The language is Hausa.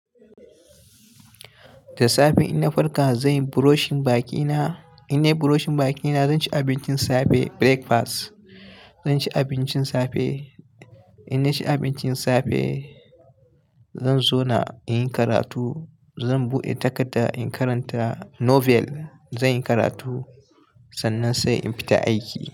Da safe ina farka, zan yi brushing bakina. In nayi brushing bakina, zan ci abincin safe, breakfast. Zan ci abincin safe. In na ci abincin safe, zan zauna in yi karatu. Zan buɗe takarda in karanta novel. Zan yi karatu, sannan sai in fita aiki.